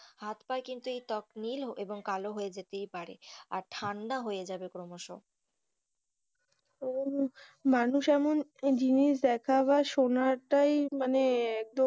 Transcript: হাত পা কিন্তু এই ত্বক নীল এবং কালো নীল হয়ে যেতেই পারে এবং ঠান্ডা হয়ে যাবে ক্রমশ, তো মানুষ এমন জিনিস দেখাবার শোনাটাই মানে।